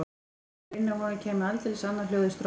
Þegar rynni af honum kæmi aldeilis annað hljóð í strokkinn.